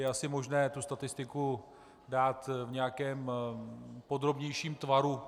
Je asi možné tu statistiku dát v nějakém podrobnějším tvaru.